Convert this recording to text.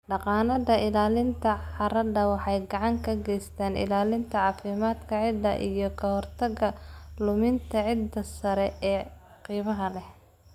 Dhaqannada ilaalinta carrada waxay gacan ka geystaan ilaalinta caafimaadka ciidda iyo ka hortagga luminta ciidda sare ee qiimaha leh.